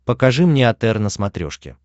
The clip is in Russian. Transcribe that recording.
покажи мне отр на смотрешке